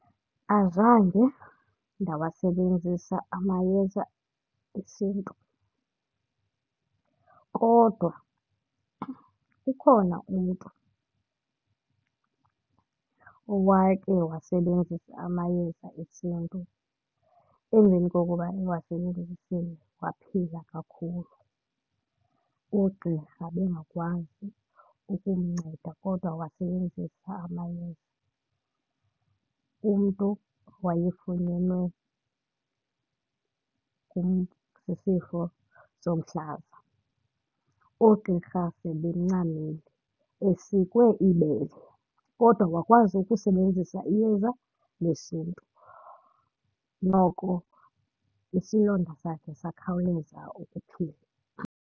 Azange ndawasebenzisa amayeza esiNtu kodwa ukhona umntu owake wawasebenzisa amayeza esiNtu. Emveni kokuba ewasebenzisile waphila kakhulu. Oogqirha bengakwazi ukumnceda kodwa wasebenzisa amayeza, omntu owayefunyewe sisifo somhlaza. Oogqirha sebencamile, esikwe ibele kodwa wakwazi ukusebenzisa iyeza lesiNtu noko isilonda sakhe sakhawuleza ukuphila.